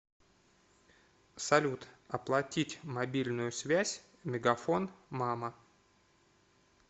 салют оплатить мобильную связь мегафон мама